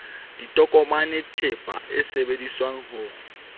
ditokomane theepa e sebedisetswang ho